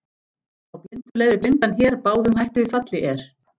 Þá blindur leiðir blindan hér, báðum hætt við falli er.